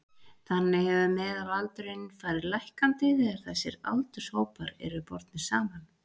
þannig hefur meðalaldurinn farið lækkandi þegar þessir aldurshópar eru bornir saman